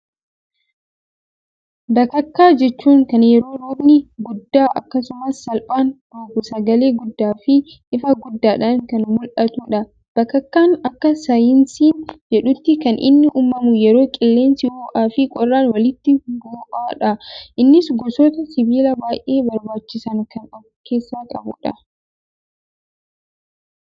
Bakakkaa jechuun kan yeroo roobni guddaan akkasumas salphaan roobuu sagalee guddaa fi ifa guddaadhan kan mul'dhatudha. bakakkaan akka saayinsiin jedhuutti kan inni uumamu yeroo qilleensi ho'aa fi qorraan walitti bo'dha. innis gosoota sibiilaa baayyee barbaachisan kan of keessaa qabudha.